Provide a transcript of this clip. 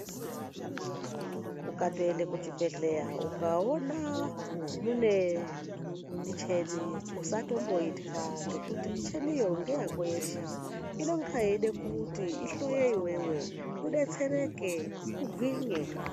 Ukatoende kuchibhedhleya ukaona mune micheni usatomboitwa ngekuti micheniyo ngeyako yeshe. Inonga yeida kuti ihloye iveve ubetsereke ugwinye.